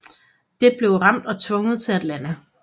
Det blev ramt og tvunget til at lande